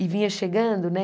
E vinha chegando, né?